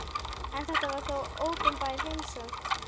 En þetta var þó opinber heimsókn.